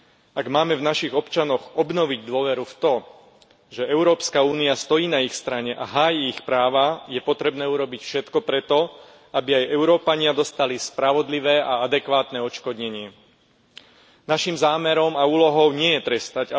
Ak máme v našich občanoch obnoviť dôveru v to, že Európska únia stojí na ich strane a háji ich práva, je potrebné urobiť všetko pre to, aby aj Európania dostali spravodlivé a adekvátne odškodnenie. Našim zámerom a úlohou nie je trestať.